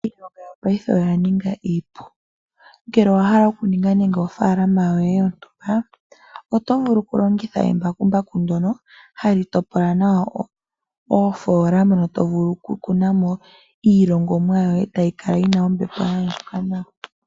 Iilonga yopaife oya ninga iipu. Ngele owa hala okuninga nege ofaalama yoye yontumba, oto vulu okulongitha embakumbaku ndyono hali topola nawa oofoolona mono to vulu okukuna mo iilongomwa yoye tayi kala yi na ombepo ya andjuka nawa.